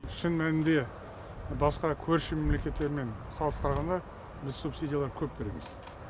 шын мәнінде басқа көрші мемлекеттермен салыстырғанда біз субсидиялар көп береміз